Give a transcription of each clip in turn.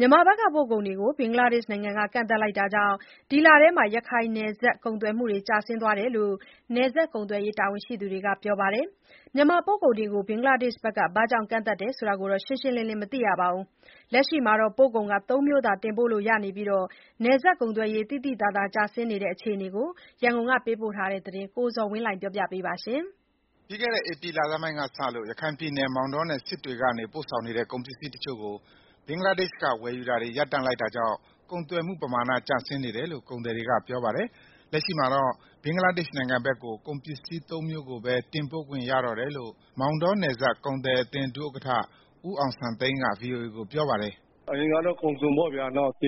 မြန်မာဘက်က ပို့ကုန်တွေကို ဘင်္ဂလားဒေရှ့် နိုင်ငံက ကန့်သတ်လိုက်တာကြောင့် ဒီလထဲ ရခိုင်နယ်စပ် ကုန်သွယ်မှုတွေ ကျဆင်းသွားတဲ့အကြောင်း နယ်စပ်ကုန်သွယ်ရေး တာဝန်ရှိသူတွေက ပြောပါတယ်။ မြန်မာပို့ကုန်တွေကို ဘင်္ဂလားဒေ့ရှ်က ဘာကြောင့် ကန့်သတ်တယ် ဆိုတာတော့ ရှင်းရှင်းလင်းလင်း မသိရပါဘူး။ လက်ရှိမှာတော့ ပို့ကုန်သုံးမျိုးသာ တင်ပို့လို့ရပြီး နယ်စပ်ကုန်သွယ်ရေး သိသိသာသာ ကျဆင်းနေတဲ့ အကြောင်း ရန်ကုန်ကလာတဲ့ သတင်းကို ကိုဇော်ဝင်းလှိုင် က တင်ပြပေးပါမယ်။ ပြီးခဲ့တဲ့ ဧပြီလဆန်းပိုင်းကစလို့ ရခိုင်ပြည်နယ် မောင်တောင်နဲ့ စစ်တွေကနေ ပို့ဆောင်နေတဲ့ ကုန်ပစ္စည်းတချို့ကို ဘင်္ဂလားဒေ့ရှ်က ဝယ်ယူတာတွေ ရပ်တန့်လိုက်တာကြောင့် ကုန်သွယ်မှုပမာဏ ကျင်ဆင်းနေတယ်လို့ ကုန်သည်တွေကပြောပါတယ်။ လက်ရှိမှာတော့ ဘင်္ဂလားဒေရှ့် နိုင်ငံဘက်ကို ကုန်ပစ္စည်းသုံးမျိုးကိုပဲ တင်ပို့ခွင့်ရတော့တယ်လို့ မောင်တောနယ်စပ် ကုန်သည်အသင်း ဒုဥက္ကဋ္ဌ ဦးအောင်စံသိန်းက ဗွီအိုအေကိုပြောပါတယ်။ “ အရင်ကတော့ ကုန်စုံပေါ့ဗျာ ကြ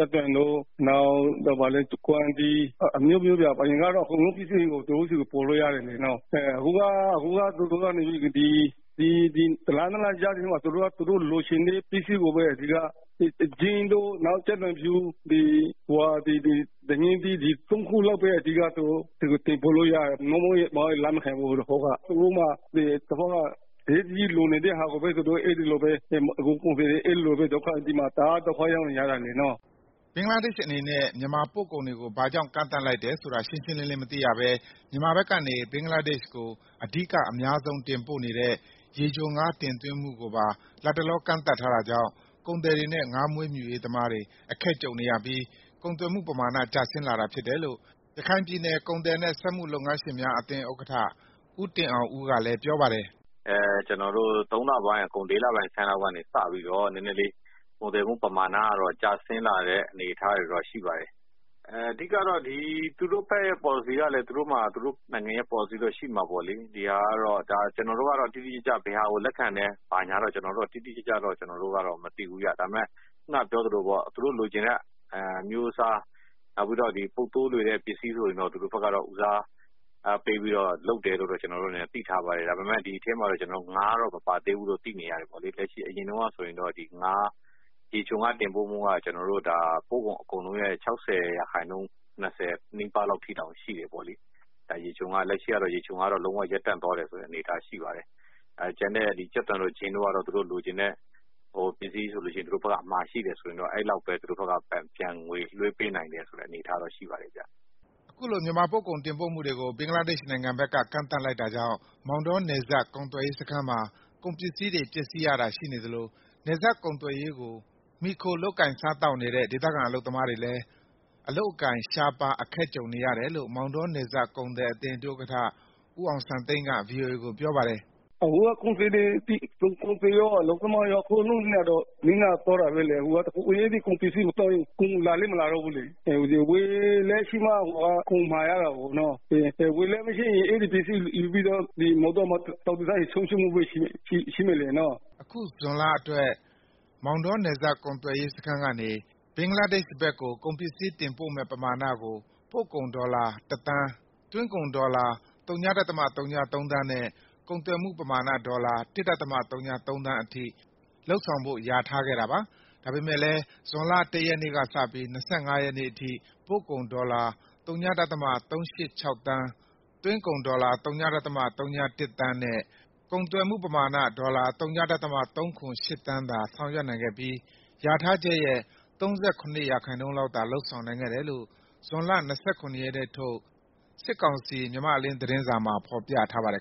က်သွန်တို့ နောက် ကွမ်းသီးအစုံပေါ့ဗျာ အကုန်လုံး သူတို့ဆီ ကို ပို့လို့ရတယ်၊ ဒီတလ နှစ်လ ကြားထဲမှာ သူတို့ လိုချင်တဲ့ ပစ္စည်းကိုပဲ အဓိက မှာတာ၊ အခုလောလောဆယ်ကတော့ ဂျင်းတို့ ကြက်သွန်ဖြူ ဒညင်းသီး ဒီ ၃ခုလောက်ပဲ အဓိကတင်ပို့ လို့ရတယ်၊ မဟုတ်ရင်လက်မခံဘူး ဟိုတခေါက်က သူတို့မှာ အရေးတကြီးလိုနေ တဲ့ဟာကိုပဲ အဲဒီလိုပဲ မှာတာ။ ဒီဖက်မှာ တအားဒုက္ခရောက်နေကြတာနော်။ ” ဘင်္ဂလားဒေရှ့် အနေနဲ့ မြန်မာပို့ကုန်တွေကို ဘာကြောင့် ကန့်သတ်လိုက်တယ်ဆိုတာ ရှင်းရှင်းလင်းလင်း မသိရဘဲ မြန်မာဘက်ကနေ ဘင်္ဂလားဒေ့ရှ်ကို အဓိက အများဆုံး တင်ပို့နေတဲ့ ရေချိုငါး တင်သွင်းမှုကိုပါ လတ်တလော ကန့်သတ်ထားတာကြောင့် ကုန်သည်တွေနဲ့ ငါးမွေးမြူရေးသမားတွေ အခက်ကြုံနေရပြီး ကုန်သွယ်မှု ပမာဏ ကျဆင်းလာတာဖြစ်တယ်လို့ ရခိုင်ပြည်နယ် ကုန်သည်နဲ့ စက်မှုလက်မှု လုပ်ငန်းရှင်များအသင်း ဥက္ကဋ္ဌ ဦးတင်အောင်ဦးကလည်း ပြောပါတယ်။ “ ကျနော်တို့ ၃လပိုင်းအကုန် ၄လဆန်းလောက်ကနေ နယ်စပ်ကုန်သွယ်မှုပမာဏတွေ ကျဆင်းလာတဲ့ အနေအထားရှိပါတယ်။ သူတို့ဘက်က ပေါ်လစီကလည်း သူတို့မှာ သူတို့နိုင်ငံရဲ့ ပေါ်လစီရှိမှာပေါ့လေ။ ကျနော်တို့က တော့ တိတိကျကျ ဘယ်ဟာကို လက်ခံတယ်၊ ဘာညာတော့ တိတိကျကျ မသိဘူးဗျာ။ ဒါပေမဲ့ ခုနက ပြောသလိုပေါ့ သူတို့လိုချင်တဲ့ အမျိုးအစား နောက်ပြီးတော့ ပုပ်သိုး လွယ်တဲ့ပစ္စည်း ဆိုရင်တော့ ဦးစားပေးပြီး လုပ်တယ်လို့တော့ ကျနော်တို့ အနေနဲ့ သိထားပါတယ်။ ဒါပေမဲ့ ဒီထဲမှာ ငါးတော့ မပါသေးဘူးလို့ သိနေရတယ်ပေါ့လေ။ အရင်တုန်းကဆိုရင် ရေချိုငါး တင်ပို့မှုက ပို့ကုန်ရာခိုင်နှုန်းရဲ့ ၆၀ ရာခိုင်နှုန်းနီးပါးလောက် အထိရှိတယ်ပေါ့လေ လက်ရှိကတော့ ရေချိုငါး တင်ပို့မှုကလည်း လုံးဝ ရပ်တန့်သွားတဲ့ အနေအထားရှိပါတယ်။ ကျန်တဲ့ ကြက်သွန်တို့ ဂျင်းတို့ကတော့ သူတို့လိုချင််တဲ့ ပစ္စည်းဆို လို့ရှိရင် သူတို့ဖက်က အမှာရှိတယ်ဆိုရင်တော့ အဲလောက်ပဲသူတို့ကငွေလွှဲ ပေးနိုင်တဲ့ အနေအထားတော့ရှိပါတယ်ဗျာ။” အခုလို မြန်မာပို့ကုန်တင်ပို့မှုတွေကို ဘင်္ဂလားနိုင်ငံဘက်က ကန့်သတ်လိုက်တာကြောင့် မောင်တော နယ်စပ်ကုန်သွယ်ရေး စခန်းမှာ ကုန်ပစ္စည်းတွေ ပျက်စီးရတာ ရှိနေသလို နယ်စပ်ကုန်သွယ်ရေး ကို မှီခိုလုပ်ကိုင်စားသောက်နေတဲ့ ဒေသခံ အလုပ်သမားတွေလည်း အလုပ်အကိုင် ရှားပါး အခက်ကြုံနေရတယ်လို့ မောင်တောနယ်စပ် ကုန်သည်အသင်း ဒုဥက္ကဋ္ဌ ဦးအောင်စံသိန်းက ဗွီအိုအေကို ပြောပါတယ်။ “ အခုကကုန်သည်ရော အလုပ်သမားရော အကုန်လုံးနစ်နာသွားတာပဲလေ အခုက အဲဒီကုန် ပစ္စည်းမသွားရင် ကုန်လည်းမလာတော့ဘူးလေ၊ ဝယ်လက်ရှိမှ ကုန်မှာရတာကိုနော် ဝယ်လက် မရှိရင် ကုန်ပစ္စည်းမှာ ပြီးတော့ မောင်တောမှာ လှောင်ထားရင် ဆုံးရှုံးမှုပဲရှိမယ်လေနော်။” အခု ဇွန်လ အတွက် မောင်တော နယ်စပ်ကုန်သွယ်ရေး စခန်းကနေ ဘင်္ဂလားဒေရှ့်ဘက်ကို ကုန်ပစ္စည်း တင်ပို့မယ့်ပမာဏကို ပို့ကုန်ဒေါ်လာ တသန်း၊ သွင်းကုန်ဒေါ်လာ ၀.၀၃ သန်းနဲ့ ကုန်သွယ်မှုပမာဏ ဒေါ်လာ ၁.၀၃ သန်းအထိ လုပ်ဆောင်ဖို့ လျာထားခဲ့တာပါ။ ဒါပေမဲ့ လည်း ဇွန်လ ၁ ရက်နေ့ကစပြီး ၂၅ ရက်နေ့အထိ ပို့ကုန် ဒေါ်လာ ၀.၃၈၆ သန်း၊ သွင်းကုန် ဒေါ်လာ ၀.၀၁ သန်းနဲ့ ကုန်သွယ်မှုပမာဏ ဒေါ်လာ ၀.၃၇၈ သန်း သာ ဆောင်ရွက်နိုင်ခဲ့ပြီး လျာထားချက်ရဲ့ ၃၇ % လောက်သာ လုပ်ဆောင်နိုင်ခဲ့တယ်လို့ ဇွန်လ ၂၇ ရက်နေ့ထုတ် စစ်ကောင်စီ မြန်မာ့အလင်း သတင်းစာမှာ ဖော်ပြထားပါတယ်